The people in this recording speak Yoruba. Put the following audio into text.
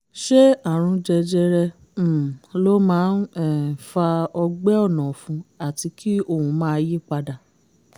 ṣé àrùn jẹjẹrẹ um ló máa um ń fa ọgbẹ́ ọ̀nà ọ̀fun àti kí ohùn máa yí padà?